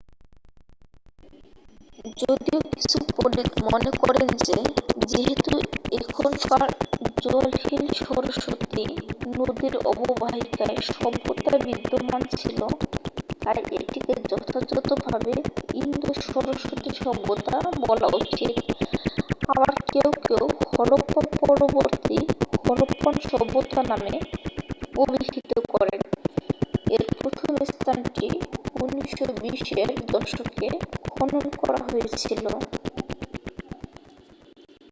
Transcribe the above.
যদিও কিছু পণ্ডিত মনে করেন যে যেহেতু এখনকার জলহীন সরস্বতী নদীর অববাহিকায় সভ্যতা বিদ্যমান ছিল তাই এটিকে যথাযথভাবে ইন্দো-সরস্বতী সভ্যতা বলা উচিত আবার কেউ কেউ হরপ্পা পরবর্তী হরপ্পান সভ্যতা নামে অবিহিত করেন এর প্রথম স্থানটি 1920 এর দশকে খনন করা হয়েছিল